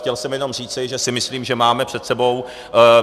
Chtěl jsem jenom říci, že si myslím, že máme před sebou...